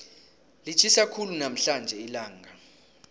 litjhisa khulu namhlanje ilanga